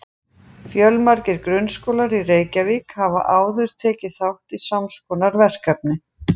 Fjölmargir grunnskólar í Reykjavík hafa áður tekið þátt í sams konar verkefni.